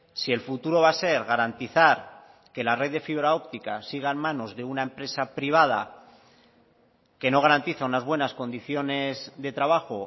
si el futuro va a ser garantizar que la red de fibra óptica siga en manos de una empresa privada que no garantiza unas buenas condiciones de trabajo